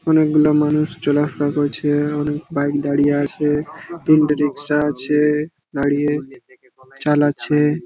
'' অনেকগুলা মানুষজন চলা ফিরা করছে করছে অনেক বাইক দাড়িয়ে আছে তিনটে রিকশা আছে দাঁড়িয়ে চালাচ্ছে'''' ।''